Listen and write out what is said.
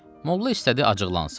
Mollla istədi acıqlansın.